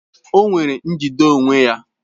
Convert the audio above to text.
O nwere njide onwe ya